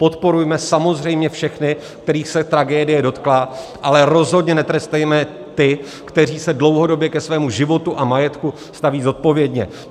Podporujme samozřejmě všechny, kterých se tragédie dotkla, ale rozhodně netrestejme ty, kteří se dlouhodobě ke svému životu a majetku staví zodpovědně.